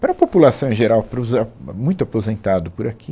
Para a população em geral, para os ah, a muito aposentado por aqui.